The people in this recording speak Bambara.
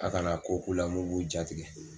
A kana ko k'u la mun b'u jatigɛ.